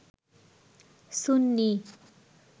সুন্নি